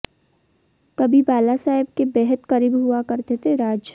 कभी बालासाहेब के बेहद करीब हुआ करते थे राज